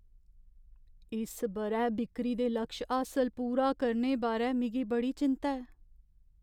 इस ब'रै बिक्करी दे लक्ष हासल पूरा करने बारै मिगी बड़ी चिंत्ता ऐ।